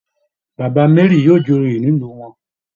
Baba Mary yóò joyè nílùú wọn